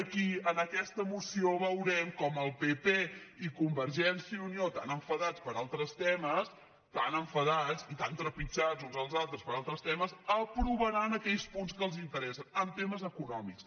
aquí en aquesta moció veurem com el pp i conver·gència i unió tan enfadats per altres temes tan en·fadats i tan trepitjats uns als altres per altres temes aprovaran aquells punts que els interessen en temes econòmics